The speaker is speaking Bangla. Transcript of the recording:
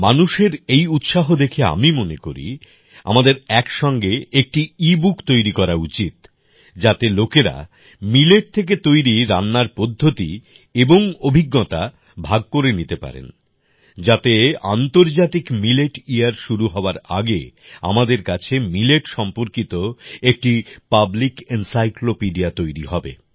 মানুষের এই উৎসাহ দেখে আমি মনে করি আমাদের এক সঙ্গে একটি ইবুক তৈরি করা উচিত যাতে লোকেরা মিলেট থেকে তৈরি রান্নার পদ্ধতি এবং অভিজ্ঞতা ভাগ করে নিতে পারেন যাতে আন্তর্জাতিক মিলেট ইয়ার শুরু হওয়ার আগে আমাদের কাছে মিলেট সম্পর্কিত একটি পাবলিক এনসাইক্লোপিডিয়া তৈরী হবে